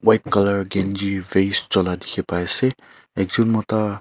colour kanchi vase chola dikhi pai ase ekjon mota.